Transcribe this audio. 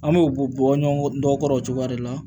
An bɛ u bɔ bɔ ɲɔgɔn dɔ kɔrɔ o cogoya de la